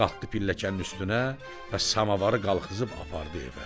Qalxdı pilləklənin üstünə və samavarı qalbızıb apardı evə.